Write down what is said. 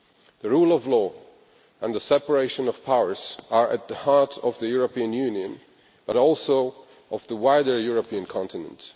The rule of law and the separation of powers are at the heart of the European Union and also of the wider European continent.